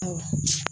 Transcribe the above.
Ɔ